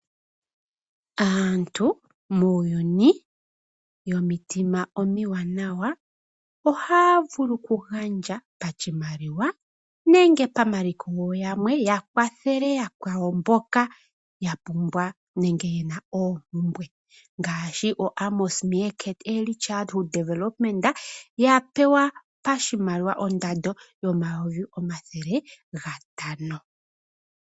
Aantu muuyuni yomitima omiwanawa ohaya vulu okugandja pashimaliwa nenge pamaliko ya kwathele yakwawo mboka ya pumbwa nenge ye na oompumbwe ngashi oAmos Meerkat Early Childhood Development ya pewa pashimaliwa ondola 500000.